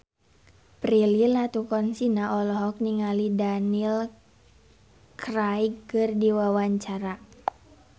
Prilly Latuconsina olohok ningali Daniel Craig keur diwawancara